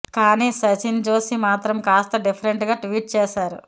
కాని సచిన్ జోషి మాత్రం కాస్త డిఫరెంటుగా ట్వీట్ చేశారు